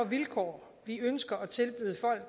vilkår